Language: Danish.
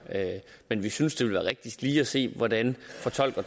men vi synes det vil være rigtigst lige at se hvordan